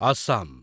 Assam